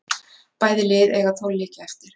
Bæði lið eiga tólf leiki eftir